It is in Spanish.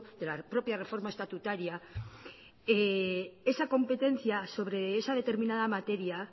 de la propia reforma estatutaria esa competencia sobre esa determinada materia